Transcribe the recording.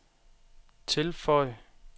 tilføj